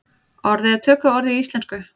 Orðið er tökuorð í íslensku.